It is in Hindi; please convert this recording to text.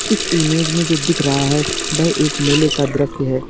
इस इमेज में जो दिख रहा है वह एक मेले का दृश्य है।